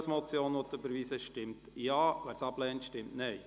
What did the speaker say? Wer den Punkt 3 überweisen will, stimmt Ja, wer dies ablehnt, stimmt Nein.